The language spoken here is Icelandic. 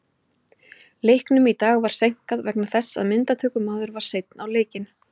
Leiknum í dag var seinkað vegna þess að myndatökumaður var seinn á leikinn.